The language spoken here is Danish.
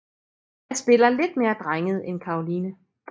Jeg spiller lidt mere drenget end Caroline